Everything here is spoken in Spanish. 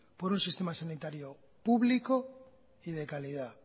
por un sistema sanitario público y de calidad